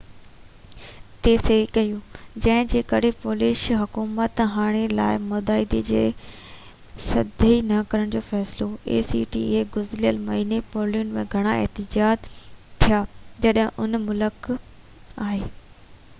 گذريل مهيني پولينڊ ۾ گهڻا احتجاج ٿيا جڏهن ان ملڪ acta تي صحي ڪئي جنهن جي ڪري پولش حڪومت هاڻي جي لاءِ معاهدي تي صحي نہ ڪرڻ جو فيصلو ڪيو آهي